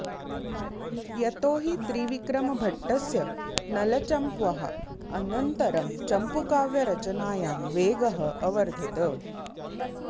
यतो हि त्रिविक्रमभट्टस्य नलचम्प्वः अनन्तरं चम्पूकाव्यरचनायां वेगः अवर्धत